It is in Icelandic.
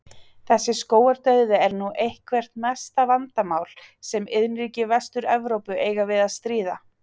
Þessi skógardauði er nú eitthvert mesta vandamál sem iðnríki Vestur-Evrópu eiga við að stríða.